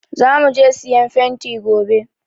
Za mu je siyan fenti gobe.